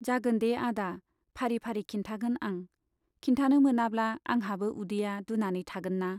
जागोन दे आदा फारि फारि खिन्थागोन आं, खिन्थानो मोनाब्ला आंहाबो उदैया दुनानै थागोनना।